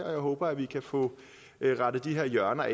og jeg håber vi kan få rettet de her hjørner